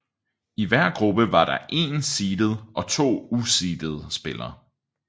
I hver gruppe var der én seedet og to useedede spiller